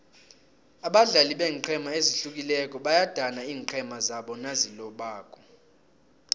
abadlali beenqhema ezihlukileko bayadana iinqhema zabo nazilobako